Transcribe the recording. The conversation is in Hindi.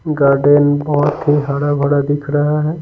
गार्डन बहुत ही हरा भरा दिख रहा है।